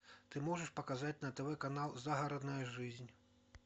ты можешь показать на тв канал загородная жизнь